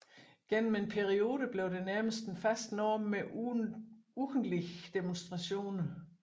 Gennem en periode blev det nærmest en fast norm med ugentlige demonstrationer